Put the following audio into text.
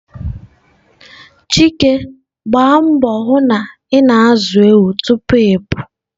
Chika Gbaa mbọ hụ na ị na-azụ ewu tupu ịpụ.